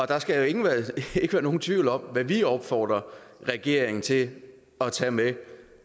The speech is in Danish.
der skal ikke være nogen tvivl om hvad vi opfordrer regeringen til at tage med